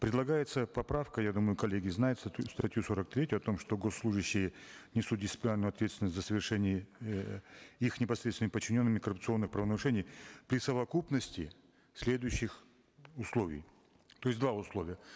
предлагается поправка я думаю коллеги знают статью сорок третью о том что госслужащие несут дисциплинарную ответственность за совершение э их непосредственными подчиненными коррупционных правонарушений при совокупности следующих условий то есть два условия